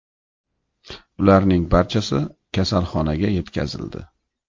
Ularning barchasi kasalxonaga yetkazildi.